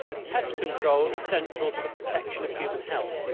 Pest control is central to the protection of human health.